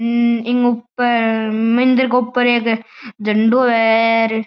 ह्म्म इके ऊपर मंदिर के ऊपर एक झंडाे है।